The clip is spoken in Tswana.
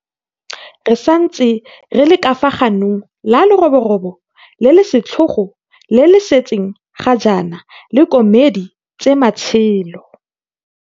Re santse re le ka fa ganong la leroborobo le le setlhogo le le setseng ga jaana le komedi tse matshelo.